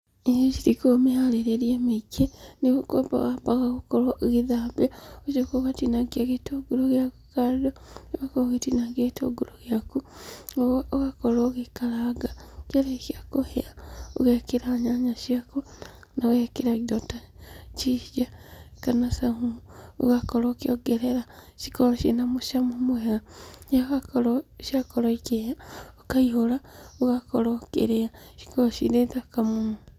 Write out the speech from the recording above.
Irio ici itikoragwo mĩharĩrĩrie mĩingi, nĩ gũkĩamba wambaga gũkorwo ũgĩthambia, ũgacoka ũgatinangia gĩtũngũrũ gĩaku kando, ũgakorwo ũgĩtinangia gĩtũngũrũ gĩaku, ũgakorwo ũgĩkaranga. Kĩarĩkia kũhĩa, ũgekĩra nyanya ciaku na ũgekĩra indo ta ginger kana saumu ũgakorwo ũkĩongerera cikorwo ciĩ na mũcamo mwega. Rĩrĩa ciakorwo ikĩhĩa, ũkaihũra ũgakorwo ũkĩrĩa. Cikoragwo cirĩ thaka mũno.